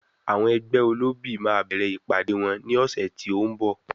Àwọn ẹgbẹ́ olóbì máa bẹ̀rẹ̀ ìpàdée wọn ní ọ̀sẹ̀ tí ó ń bọ̀.